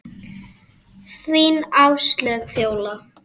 Þín Áslaug Fjóla.